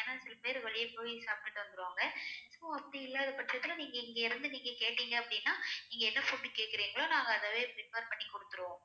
ஏனா சில பேர் வெளிய போய் சாப்டுட்டு வந்துருவாங்க so அப்படி இல்லாத பட்சத்துல நீங்க இங்க இருந்து நீங்க கேட்டிங்க அப்டின்னா நீங்க என்ன food கேக்குரிங்கலோ நாங்க அதவே prepare பண்ணி குடுத்துருவோம்